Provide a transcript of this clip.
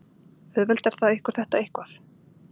Auðveldar það ykkur þetta eitthvað?